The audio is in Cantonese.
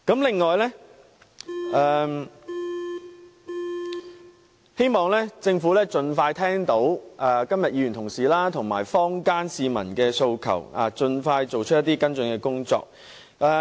此外，我希望政府在聽到議員及市民提出的訴求後，盡快作出跟進工作。